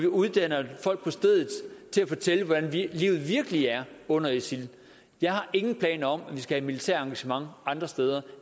uddanner folk på stedet til at fortælle hvordan livet virkelig er under isil jeg har ingen planer om at vi skal have et militært engagement andre steder